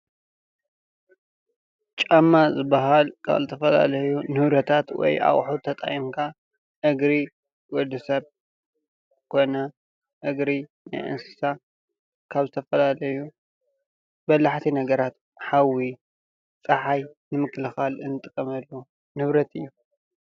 ጫማ ዝበሃል ካብ ዝተፈላለዩ ንብረታት ወይ ኣቑሁት ተጠቒምካ አግሪ ወዲ ሰብ ኮነ እግሪ ናይ አንስሳ ካብ ዝተፈላለዩ በላሕቲ ነገራት፣ ሓዊ ፣ ጸሓይ ንምክልኻል እንጥቀመሉ ንብረት እዩ